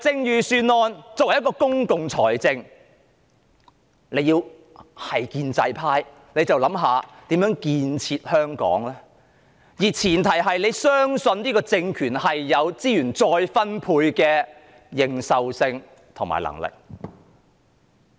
預算案是運用公共財政的計劃，建制派好應該思考如何建設香港，而前提是他們要相信這個政權具備資源再分配的認受性和能力。